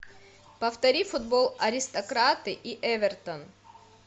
повтори футбол аристократы и эвертон